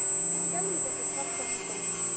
Skelfing er þér kalt á höndunum.